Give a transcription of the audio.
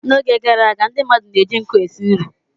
N'oge gara aga, ndị mmadụ na-eji nkụ esi nri.